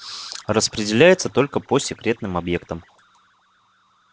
распределяется только по секретным объектам